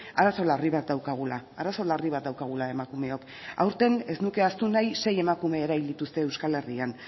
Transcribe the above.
arazo larri bat daukagula arazo larri bat daukagula emakumeok aurten ez nuke ahaztu nahi sei emakume erail dituzte euskal herrian